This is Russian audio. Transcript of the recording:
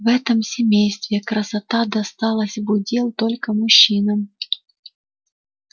в этом семействе красота досталась в удел только мужчинам